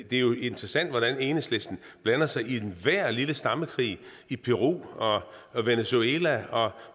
det er jo interessant hvordan enhedslisten blander sig i enhver lille stammekrig i peru venezuela